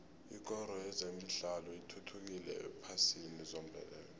ikoro yezemidlalo ithuthukile ephasini zombelele